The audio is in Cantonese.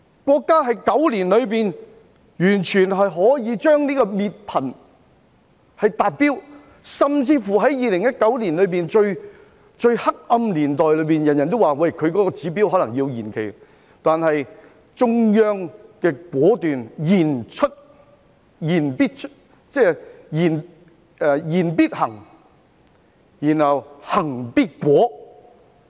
國家在9年裏達到滅貧的目標，甚至乎在2019年——最黑暗的時候——人人都以為國家未必可以達標而可能要將目標延期，但中央果斷，言必行，行必果。